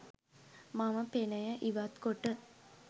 මම පෙනය ඉවත් කොට